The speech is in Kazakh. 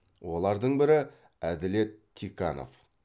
олардың бірі әділет тиканов